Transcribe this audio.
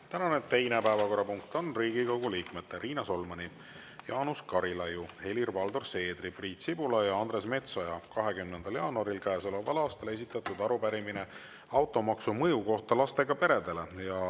Tänane teine päevakorrapunkt on Riigikogu liikmete Riina Solmani, Jaanus Karilaiu, Helir-Valdor Seedri, Priit Sibula ja Andres Metsoja 20. jaanuaril käesoleval aastal esitatud arupärimine automaksu mõju kohta lastega peredele.